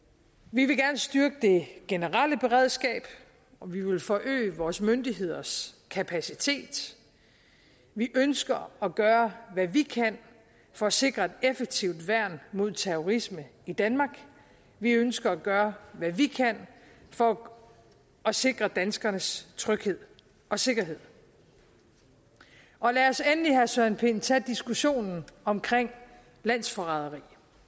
vi vil gerne styrke det generelle beredskab og vi vil forøge vores myndigheders kapacitet vi ønsker at gøre hvad vi kan for at sikre et effektivt værn mod terrorisme i danmark vi ønsker at gøre hvad vi kan for at sikre danskernes tryghed og sikkerhed lad os endelig herre søren pind tage diskussionen om landsforræderi